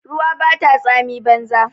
Ruwa bata tsami banza.